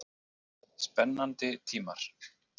Spennandi tímar?